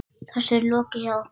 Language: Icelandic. Þessu er lokið hjá okkur.